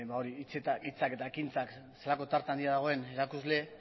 hori hitzak eta ekintzak zelako tarte handia dagoen erakusle